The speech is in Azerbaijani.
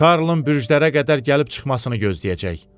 Karlın bürclərə qədər gəlib çıxmasını gözləyəcək.